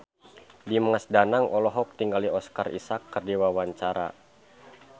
Dimas Danang olohok ningali Oscar Isaac keur diwawancara